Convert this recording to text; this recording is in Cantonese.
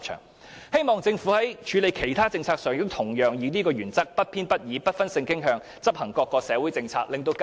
我希望政府在處理其他政策上，亦會以相同原則，不偏不倚及不分性傾向地執行各項社會政策，讓更多香港市民受惠。